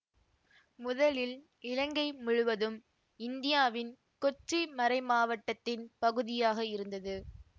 முதலில் இலங்கை முழுவதும் இந்தியாவின் கொச்சி மறைமாவட்டத்தின் பகுதியாக இருந்தது